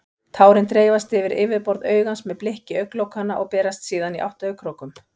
Tárin dreifast yfir yfirborð augans með blikki augnlokanna og berast síðan í átt að augnkrókum.